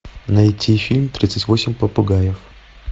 найти фильм тридцать восемь попугаев